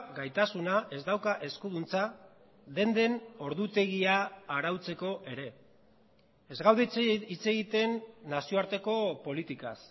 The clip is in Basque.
gaitasuna ez dauka eskuduntza denden ordutegia arautzeko ere ez gaude hitz egiten nazioarteko politikaz